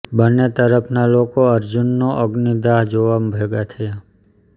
બંનેં તરફના લોકો અર્જુનનો અગ્નિદાહ જોવા ભેગા થયાં